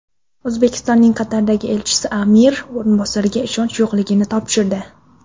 O‘zbekistonning Qatardagi elchisi amir o‘rinbosariga ishonch yorliqlarini topshirdi.